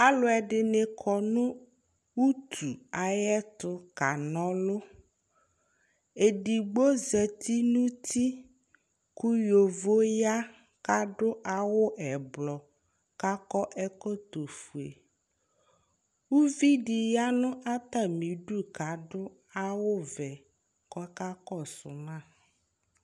Alʋɛɖini kɔnʋ utʋ ayɛtʋ k'anɔlʋEɖigbo za nʋ uti, kʋ yovo ya k'aɖʋ awʋ ɛblɔ k'akɔ ɛkɔtɔ ofueƲviɖi ya n'atamiɖʋ k'ɖʋ awʋ vɛ k'ɔkakɔsu ma